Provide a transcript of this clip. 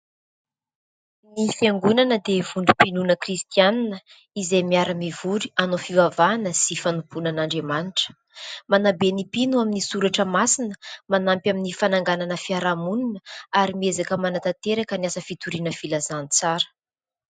Ny fiangonana dia vondrom-pinoana kristiana izay miara-mivory hanao fivavahana sy fanompoanan'Andriamanitra. Manabe ny mpino amin'ny soratra masina, manampy amin'ny fananganana fiarahamonina ary miezaka manatanteraka ny asa fitoriana filazantsara.